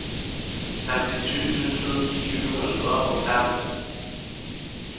femtisju tusen sju hundre og fem